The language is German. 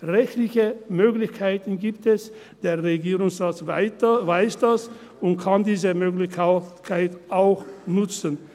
Rechtliche Möglichkeiten gibt es, der Regierungsrat weiss das und kann diese Möglichkeiten auch nutzen!